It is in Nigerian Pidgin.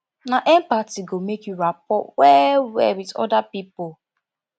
na empathy go make you rapport wellwell wit oda pipo